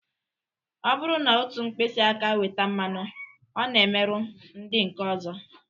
Ọ bụrụ na otu mkpịsị aka weta mmanụ, ọ na-emerụ ndị nke ọzọ